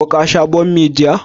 Ko ka sha bommi jiya?